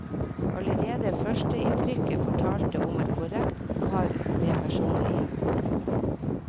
Allerede førsteinntrykket fortalte om en korrekt kar med personlighet.